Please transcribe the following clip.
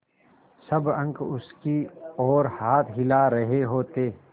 सब अंक उसकी ओर हाथ हिला रहे होते